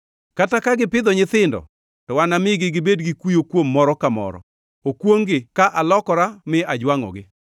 Kata ka gipidho nyithindo, to namigi gibed gi kuyo kuom moro ka moro. Okwongʼ-gi, ka alokora mi ajwangʼogi!